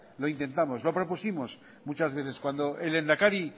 lo intentamos lo propusimos muchas veces cuando el lehendakari